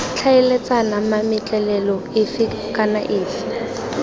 tlhaeletsana mametlelelo efe kana efe